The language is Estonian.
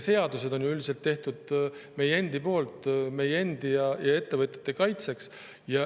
Seadused on ju üldiselt tehtud meie endi poolt meie endi ja ettevõtjate kaitseks.